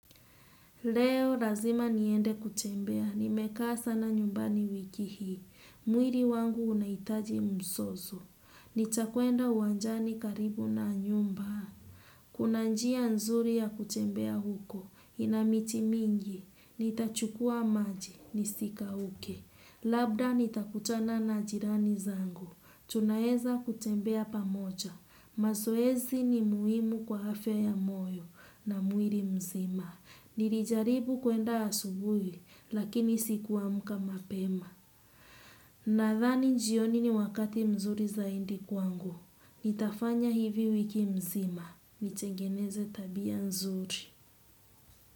Leo razima niende kutembea, nimeka sana nyumbani wiki hii. Mwiri wangu unaitaji msozo. Nitakwenda uwanjani karibu na nyumba. Kuna njia nzuri ya kutembea huko, ina miti mingi. Nitachukua maji, nisikauke. Labda nitakutana na jirani zangu. Tunaweza kutembea pamoja. Mazoezi ni muhimu kwa afya ya moyo na mwili mzima. Nilijaribu kuenda asubuhi, lakini sikuamka mapema. Nadhani jioni ni wakati mzuri zaidi kwangu. Nitafanya hivi wiki mzima. Nitengeneze tabia nzuri.